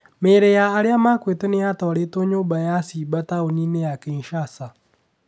Mĩrĩ ya arĩa makuĩre nĩ yatwarĩtwo nyũmba ya ciiba taũni-inĩ ya Kinshasa.